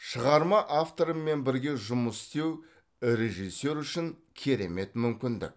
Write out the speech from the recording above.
шығарма авторымен бірге жұмыс істеу режиссер үшін керемет мүмкіндік